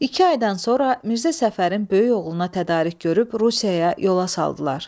İki aydan sonra Mirzə Səfərin böyük oğluna tədarük görüb Rusiyaya yola saldılar.